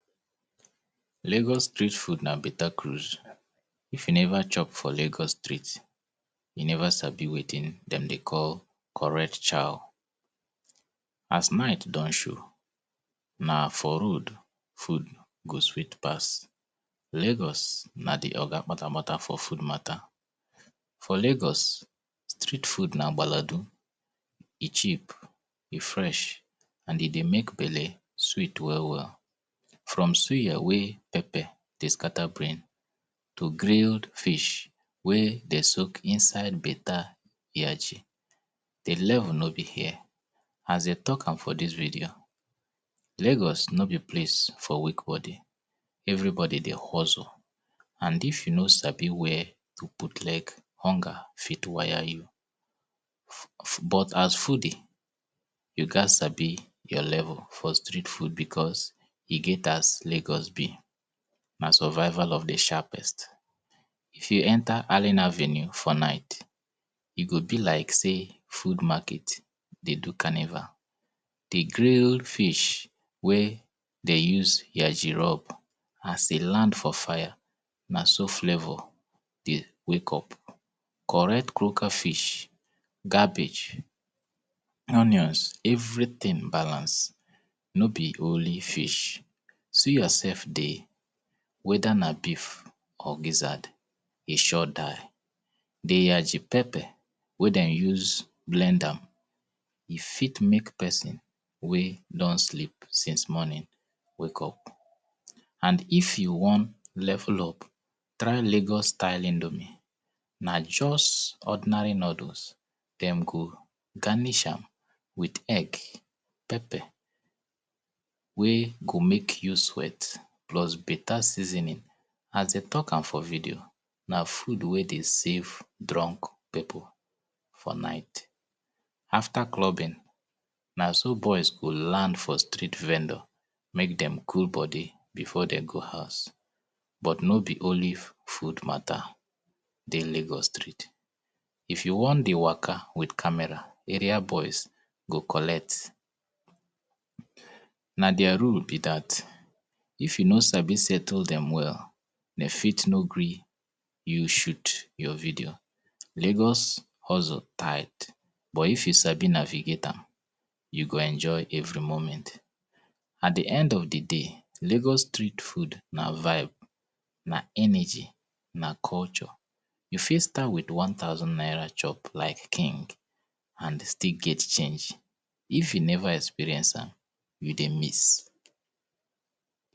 Lagos Street food na better cruise, if you never chop for Lagos Street you never sabi wetin dem dey call correct chow as night don show na road food go sweet pass road food go sweet pass Lagos na the oga patapata for food matter. For Lagos Street food na baladu eh cheap, eh fresh and eh dey make Belle sweet well well. From suya wey pepper dey scatter brain to grilled fish wey they soak inside better yachi. The level no be here, as them talk am for this video Lagos no be place for weak body, everybody dey hustle and if you no sabi where to put leg, hunger fit wire you. But as foodie, you gas sabi your level for street food because eh get as Lagos be na survival of the sharpest. If you enter arena avenue for night, eh go be like say food market dey do carnival. The grilled fish wey they use yachi rub as eh land for fire na so flavor dey wake up. Correct croaker fish, cabbage, onions, everything balanced, no be only fish. Suya sef dey, whether na beef or gizzard eh sure die. yachi pepper wey them use blend am, eh make person wey don sleep since morning, wake up. And if you wan level up, try Lagos style indomie, na just ordinary noddles them cook, garnish am with egg, pepper wey go make you sweat, plus better seasoning, as them talk am for video, na food wey dey save drunk people for night. After clubbing na so boys go land for street vendors, make them cool body before them go house. But no be only food matter dey Lagos Street, if you want dey waka with camera, area boys go collect. Na their rule be that, if you no sabi settle them well, them fit no gree you shoot your video. Lagos hustle tight but if you sabi navigate am, you go enjoy every moment. At the end of the day, Lagos Street food na vibe, na energy, na culture. You fit stand with one thousand naira chop like King